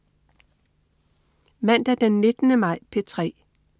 Mandag den 19. maj - P3: